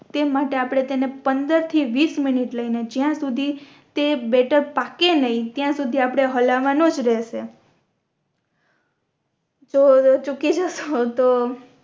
તે માટે આપણે એને પંદર થી વીસ મિનિટ લઈ ને જ્યાં સુધી તે બેટર પાકે નય ત્યાં સુધી આપણે હલવાનો જ રહશે તો આવે ચૂકી જશો તો